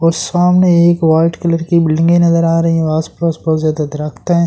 और सामने एक वाइट कलर की बिल्डिंगें नजर आ रही है आसपास बहुत ज्यादा दरख्त है।